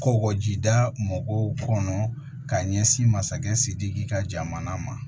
Kɔkɔjida mɔgɔw kɔnɔ k'a ɲɛsin masakɛ sidiki ka jamana ma